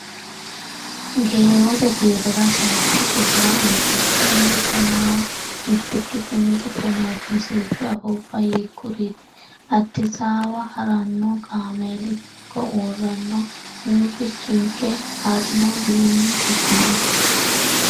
Geewote kiirora sayikki gufora ontikkinna tonaa mitikki sini giddo noori misilshu afuubba hiikkuriiti? Addisaawa ha’ranno kaameeli hiikko uurranno? Murrichinke ha’rinowiinni higini?